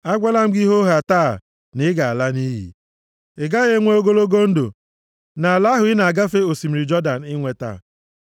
agwala m gị hoohaa taa, na ị ga-ala nʼiyi, ị gaghị enwe ogologo ndụ nʼala ahụ ị na-agafe osimiri Jọdan inweta.